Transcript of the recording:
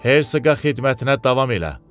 Hersoqa xidmətinə davam elə.